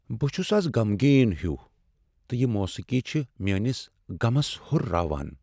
بہ چھُس از غمگین ہیُو ، تہٕ یہ موسیقی چھ میٲنس غمس ہرٛراوان۔